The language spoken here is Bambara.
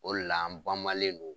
O le la an banmalen do